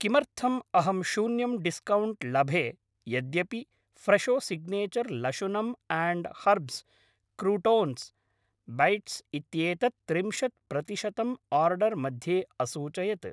किमर्थम् अहं शून्यं डिस्कौण्ट् लभे यद्यपि फ्रेशो सिग्नेचर् लशुनम् आण्ड् हर्ब्स् क्रूटोन्स् बैट्स् इत्येतत् त्रिंशत् प्रतिशतं आर्डर् मध्ये असूचयत्?